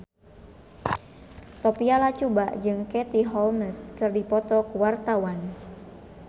Sophia Latjuba jeung Katie Holmes keur dipoto ku wartawan